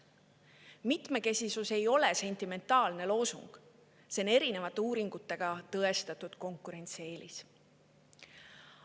Mitmekesisus ei ole sentimentaalne loosung, see on erinevate uuringutega tõestatud konkurentsieelis.